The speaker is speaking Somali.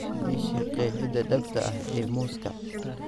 ii sheeg qeexida dhabta ah ee muuska